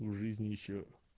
и в жизни ещё